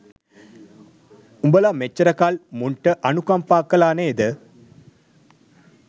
උබල මෙච්චරකල් මුන්ට අනුකම්පා කලා නේද